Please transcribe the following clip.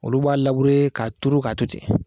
Olu b'a labure k'a turu k'a to ten